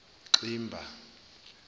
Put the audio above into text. ximba